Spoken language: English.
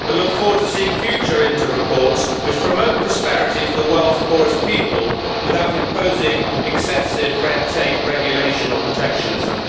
However, I look forward to seeing future INTER reports which promote prosperity for the world's poorest people without imposing excessive red tape, regulation or protectionism.